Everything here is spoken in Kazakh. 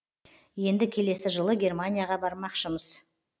енді келесі жылы германияға бармақшымыз